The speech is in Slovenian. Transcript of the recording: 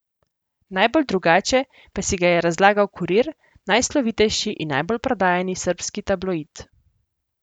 Najbolj drugače pa si ga je razlagal Kurir, najslovitejši in najbolj prodajani srbski tabloid.